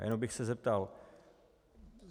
A jenom bych se zeptal.